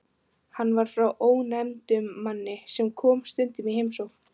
Hann var frá ónefndum manni sem kom stundum í heimsókn.